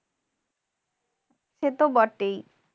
সে তো বটেই।